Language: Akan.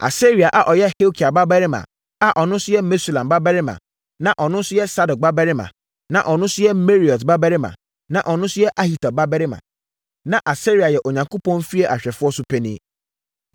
Asaria a ɔyɛ Hilkia babarima, a ɔno nso yɛ Mesulam babarima, na ɔno nso yɛ Sadok babarima, na ɔno nso yɛ Meraiot babarima, na ɔno nso yɛ Ahitub babarima. Na Asaria yɛ Onyankopɔn fie ahwɛfoɔ so panin.